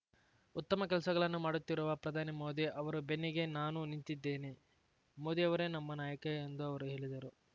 ಉತ್ತಮ ಕೆಲಸಗಳನ್ನು ಮಾಡುತ್ತಿರುವ ಪ್ರಧಾನಿ ಮೋದಿ ಅವರ ಬೆನ್ನಿಗೆ ನಾನು ನಿಂತಿದ್ದೇನೆ ಮೋದಿಯವರೇ ನಮ್ಮ ನಾಯಕ ಎಂದು ಅವರು ಹೇಳಿದರು